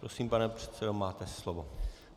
Prosím, pane předsedo, máte slovo.